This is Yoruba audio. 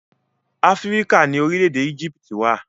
Áfíríkà ni orílẹ̀-èdè Éjíptì wà.